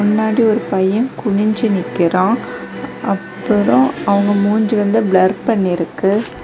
முன்னாடி ஒரு பையன் குனிஞ்சு நிக்கிறான் அப்புறம் அவங்க மூஞ்சி வந்து ப்ளர் பண்ணிருக்கு.